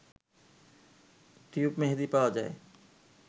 tube মেহেদি পাওয়া যায়